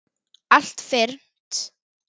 Allt fyrnt.